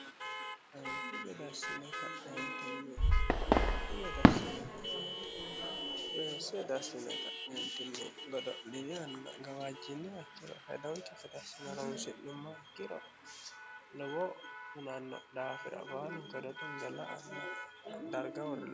Anfi gede assine k'nentinni bai gadassineti weense dassine ka'neentinni godo'lini anna gawaajjinni waciro hedaulti fidassime ronsi'yumma igiro lobo hunanno daafira baalugedo tunga anno darga holoo